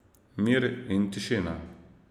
Mir in tišina.